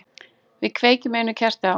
Við kveikjum einu kerti á.